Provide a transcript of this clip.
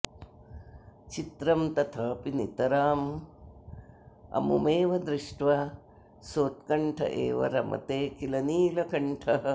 चित्रं तथापि नितराममुमेव दृष्ट्वा सोत्कण्ठ एव रमते किल नीलकण्ठः